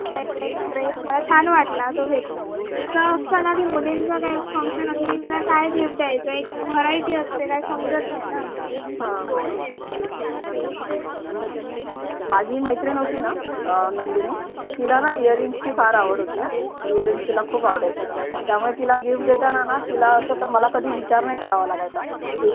हा हा बरोबर माझी मैत्रीण होती ना अं नंदिनी तिला न earring ची फार आवड होती हा earring ला खूप आवडायचे त्यामुळे तिला gift घेताना ना मला असा कधी विचार नाही करावा लागायचा